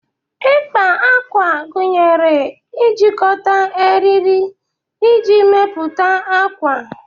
Ịkpa ákwà gunyere ijikọta eriri iji mepụta akwa.